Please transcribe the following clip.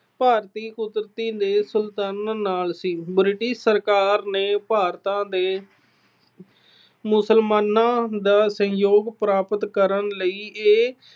ਭਾਰਤੀ ਨਾਲ ਸੀ। British ਸਰਕਾਰ ਨੇ ਭਾਰਤ ਦੇ ਮੁਸਲਮਾਨਾਂ ਦਾ ਸਹਿਯੋਗ ਪ੍ਰਾਪਤ ਕਰਨ ਲਈ ਇਹ